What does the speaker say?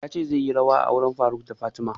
Ya ce zai yi rawa a auren faruk da fatima